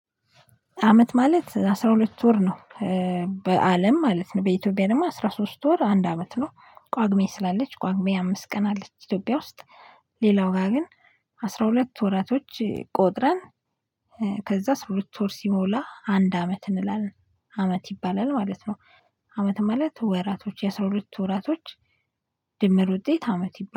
አመት ማለት አስራ ሁለት ወር ነው። በአለም ማለት ነው በኢትዮጵያ ደግሞ አስራ ሶስት ወር አንድ አመት ነው ቋግሜ ስላለች ቋግሜ አምስት ቀን አለች ኢትዮጵያ ውስጥ ሌላው ጋር ግን አስራ ሁለት ወራቶች ቆጥረን ከዛ አስራ ሁለት ወር ሲሞላ አንድ አመት እንላለን አመት ይባላል ማለት ነው። አመት ማለት ወራቶች የስራ ሁለት ወራቶች ድምር ውጤት አመት ይባላል።